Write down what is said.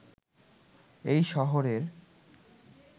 এই শহরের